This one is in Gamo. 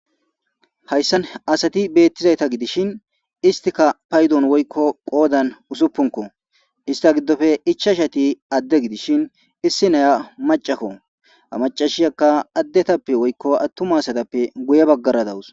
Hayssan asati beettizayta gidishin istika paydon woykko qoodan usuppunko ista giddofe ichashati adde gidishin issi naya macakko amacashiyakka addetappe woykko attuma satappe guye baggara dawus